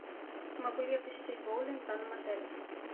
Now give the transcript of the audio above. могу ли я посетить боулинг в данном отеле